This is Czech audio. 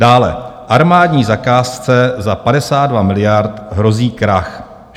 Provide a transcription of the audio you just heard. Dále: "Armádní zakázce za 52 miliard hrozí krach.